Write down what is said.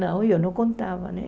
Não, eu não contava, né?